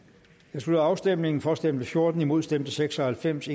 jeg slutter afstemningen for stemte fjorten imod stemte seks og halvfems